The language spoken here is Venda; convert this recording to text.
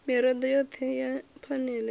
mirado yothe ya phanele i